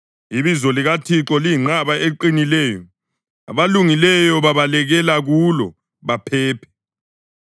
Ibizo likaThixo liyinqaba eqinileyo; abalungileyo babalekela kulo baphephe.